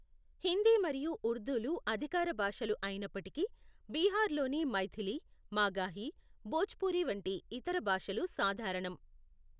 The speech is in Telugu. హిందీ మరియు ఉర్దూలు అధికార భాషలు అయినప్పటికీ, బీహార్లోని మైథిలి, మాగాహి, భోజ్పురి వంటి ఇతర భాషలు సాధారణం.